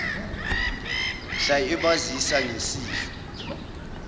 mhla ebazisa ngesifo